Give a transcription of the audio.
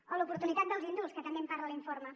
o l’oportunitat dels indults que també en parla l’informe